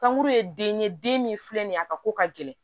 Kankuru ye den ye den min filɛ nin ye a ka ko ka gɛlɛn